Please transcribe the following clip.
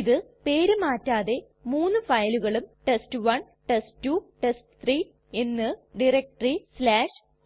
ഇത് പേര് മാറ്റാതെ മൂന്ന് ഫയലുകളും ടെസ്റ്റ്1 ടെസ്റ്റ്2 ടെസ്റ്റ്3 എന്ന് ടയരക്റ്റെറി